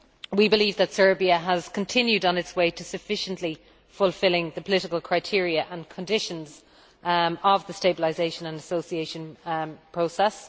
We believe that Serbia has continued on its way to sufficiently fulfilling the political criteria and conditions of the stabilisation and association process.